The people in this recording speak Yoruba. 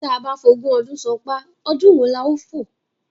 Tía bá f'ogún ọdún ṣán’pá, ọdún wo la ó fò?